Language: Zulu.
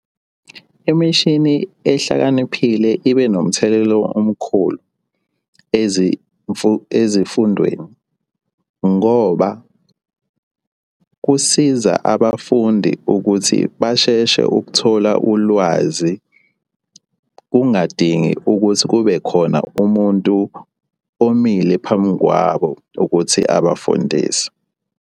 Imishini ehlakaniphile ibe nomthelela omkhulu ezifundweni ngoba kusiza abafundi ukuthi basheshe ukuthola ulwazi, kungadingi ukuthi kube khona umuntu omile phambi kwabo ukuthi abafundise.